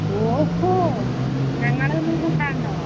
ഓഹോ. ഞങ്ങളെയൊന്നും കൂട്ടാണ്ടോ?